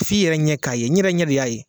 F'i yɛrɛ ɲɛ de k'a ye , n yɛrɛ ɲɛ de y'a ye.